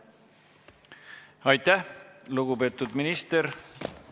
Aitäh, lugupeetud minister!